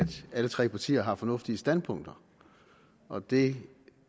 alle tre partier har fornuftige standpunkter og det